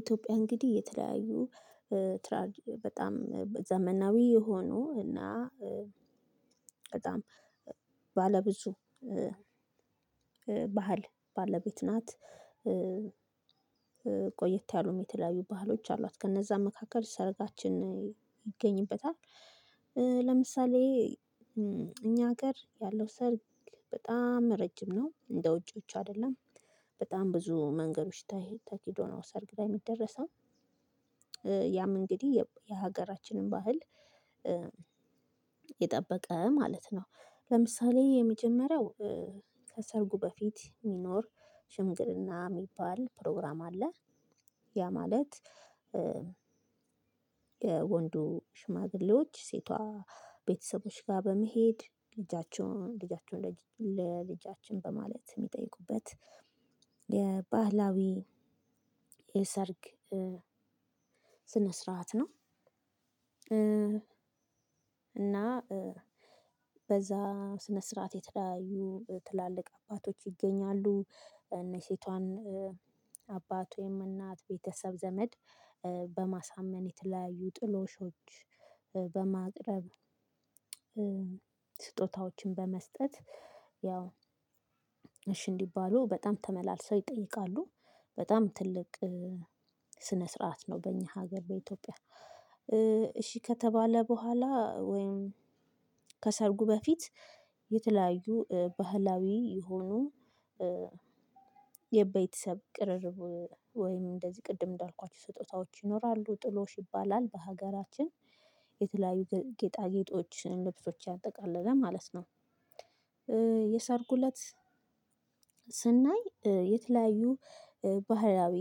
ኢትዮጵያ እንግዲህ የተለያዩ ትራጅ በጣም ዘመናዊ የሆኑ እና በጣም ባለብዙ ባህል ባለቤት ናት ቆየት ያሉም የተለያዩ ባህሎች አሏት ከነዛ መካከል ሰረጋችን ይገኝበታል። ለምሳሌ እኛ ሀገር ያለው ሰርግ በጣም ረጅም ነው እንደ ውጪዎቹ አይደለም በጣም ብዙ መንገዶች ተኪዶ ነው ሰርግ ላይ የሚደረሰው ያም እንግዲህ የሀገራችንን ባህል የጠበቀ ማለት ነው። ለምሳሌ የመጀመሪያው ከሰርጉ በፊት የሚኖር ሽምግልና የሚባል ፕሮግራም አለ። ያ ማለት የወንዱ ሽማግሌዎች ሴቷ ቤተሰቦች ጋር በመሄድ ልጃቸውን ልጃቸውን ለልጃችን በማለት የሚጠይቁበት የባህላዊ የሰርግ ስነ ስርዓት ነው። እና በዛ ስነ ስርዓት የተለያዩ ትላልቅ አባቶች ይገኛሉ። እና የሴቷን አባት ወይም እናት ቤተሰብ ዘመድ በማሳመን የተለያዩ ጥሎሾች በማቅረብ ስጦታዎችን በመስጠት ያው እሺ እንዲባሉ በጣም ተመላልሰው ይጠይቃሉ። በጣም ትልቅ ስነ ስርዓት ነው በእኛ ሀገር በኢትዮጵያ። እሺ ከተባለ በኋላ ወይም ከሰርጉ በፊት የተለያዩ ባህላዊ የሆኑ የቤተሰብ ቅርርብ ወይም እንደዚህ ቅድም እንዳልኳችሁ ስጦታዎች ይኖራሉ ጥሎሽ ይባላል በሀገራችን የተለያዩ ጌጣጌጦች ልብሶች ያጠቃለለ ማለት ነው። የሰርጉ እለት ስናይ የተለያዩ ባህላዊ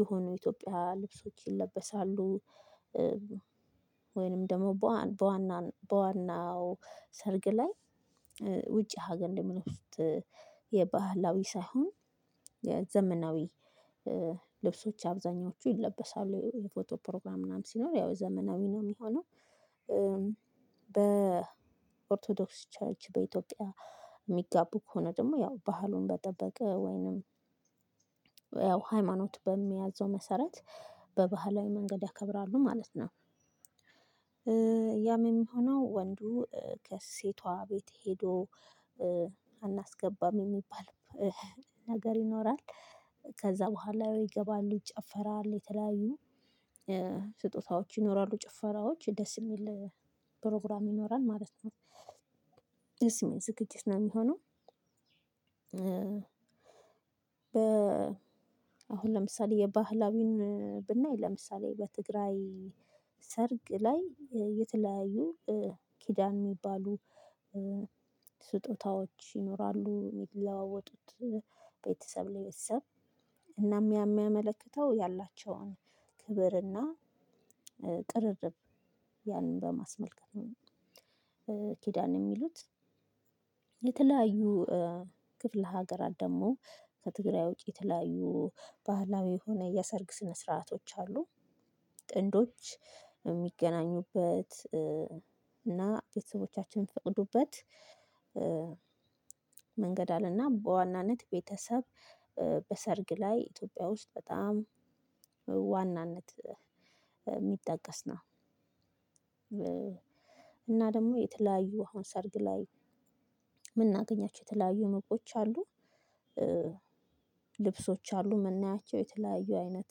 የሆኑ የኢትዮጵያ ልብሶች ይለበሳሉ። ወይንም ደግሞ በዋና በዋናው ሰርግ ላይ ውጪ ሀገር እንደምንወጣ የባህላዊ ሳይሆን የዘመናዊ ልብሶች አብዛኞቹ ይለበሳሉ የፎቶ ፕሮግራም ምናምን ሲኖር ያው ዘመናዊ ነው የሚሆነው። በኦርቶዶክስ ቸርች በኢትዮጵያ የሚጋቡ ከሆነ ደግሞ ያው ባህሉን በጠበቅ ወይንም ያው ሃይማኖት በሚያዘው መሰረት በባህላዊ መንገድ ያከብራሉ ማለት ነው። ያም የሚሆነው ወንዱ ከሴቷ ቤት ሄዶ አናስገባም የሚባል ነገር ይኖራል። ከዛ በኋላ ይገባሉ ይጨፈራል የተለያዩ ስጦታዎች ይኖራሉ ጭፈራዎች ደስ የሚል ፕሮግራም ይኖራል ማለት ነው። ደስ የሚል ዝግጅት ነው የሚሆነው። በ አሁን ለምሳሌ የባህላዊን ብናይ ለምሳሌ በትግራይ ሰርግ ላይ የተለያዩ ኪዳን የሚባሉ ስጦታዎች ይኖራሉ የሚለዋወጡት። ቤተሰብ ለቤተሰብ እናም ያ የሚያመለክተው ያላቸውን ክብርና ቅርርብ ያንን በማስመልከት ኪዳን የሚሉት የተለያዩ ክፍለ ሀገራት ደግሞ ከትግራይ ወጪ ተለያዩ ባህላዊ የሆነ የሰርግ ስነ ስርዓቶች አሉ። ጥንዶች የሚገናኙበት እና ቤተሰቦቻቸው የሚፍቅዱበት መንገድ አለና በዋናነት ቤተሰብ በሰርግ ላይ ኢትዮጵያ ውስጥ በጣም ዋናነት የሚጠቀስ ነው። እና ደግሞ የተለያዩ አሁን ሰርግ ላይ የምናገኛቸው የተለያዩ ሁነቶች አሉ። ልብሶች አሉ መናያቸው የተለያዩ አይነት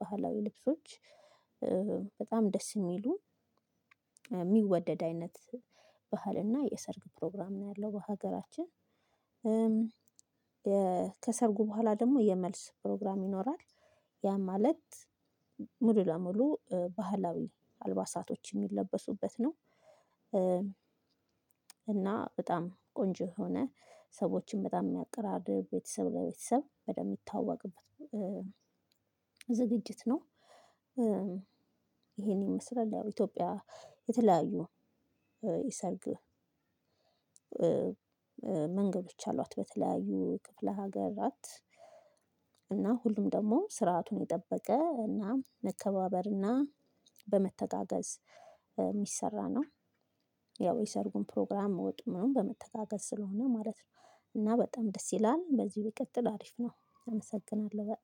ባህላዊ ልብሶች በጣም ደስ የሚሉ የሚወደድ አይነት ባህል እና የሰርግ ፕሮግራም ነው ያለው በሀገራችን። ከሰርጉ በኋላ ደግሞ የመልስ ፕሮግራም ይኖራል። ያ ማለት ሙሉ ለሙሉ ባህላዊ አልባሳቶች የሚለበሱበት ነው። እና በጣም ቆንጆ የሆነ ሰዎችን በጣም የሚያቀራርብ ቤተሰብ ለቤተሰብ በደንብ የሚታወቅበት ዝግጅት ነው። ይሄን ይመስላል ኢትዮጵያ የተለያዩ የሰርግ መንገዶች አሏት። በተለያዩ ክፍለ ሀገራት እና ሁሉም ደግሞ ስርዓቱን የጠበቀ እና መከባበር እና በመተጋገዝ የሚሰራ ነው። ያው የሰርጉን ፕሮግራም ወጡን መናምን በመተጋገዝ ስለሆነ ማለት ነው። እና በጣም ደስ ይላል በዚሁ ይቀጥል አሪፍ ነው። እመሰግናለሁ በ